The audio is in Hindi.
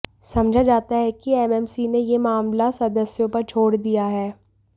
समझा जाता है कि एमएमसी ने यह मामला सदस्यों पर छोड़ दिया है